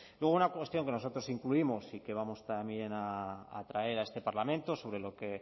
luego una cuestión que nosotros incluimos y que vamos también a traer a este parlamento